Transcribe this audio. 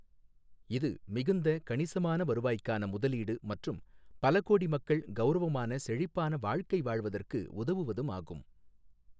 இது மிகுந்த கணிசமான வருவாய்க்கான முதலீடு மற்றும் பல கோடி மக்கள் கௌரவமான செழிப்பான வாழ்க்கை வாழ்வதற்கு உதவுவதும் ஆகும்.